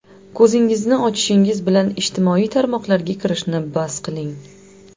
Ko‘zingizni ochishingiz bilan ijtimoiy tarmoqlarga kirishni bas qiling.